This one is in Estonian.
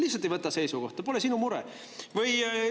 Lihtsalt ei võta seisukohta, pole sinu mure!